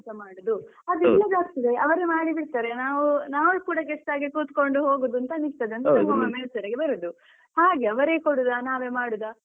ಎಲ್ಲದ್ದುಸ ಮಾಡುದು ಅದು ಇಲ್ಲದೆ ಆಗ್ತದೆ ಅವ್ರೆ ಮಾಡಿಬಿಡ್ತಾರೆ ನಾವು ನಾವು ಕೂಡ guest ಹಾಗೆ ಕುತ್ಕೊಂಡು ಹೋಗುದು ಅಂತ ಅನ್ನಿಸ್ತದೆ ಅಂದ್ರೆ ಬರುದು ಹಾಗೆ ಅವ್ರೆ ಕೊಡುದಾ ನಾವೇ ಮಾಡುದಾ